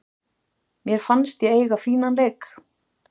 Mér fannst ég eiga fínan leik.